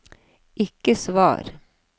ikke svar